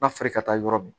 Na feere ka taa yɔrɔ min